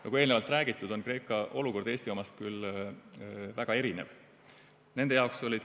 Nagu eelnevalt räägitud, on Kreeka olukord Eesti omast väga erinev.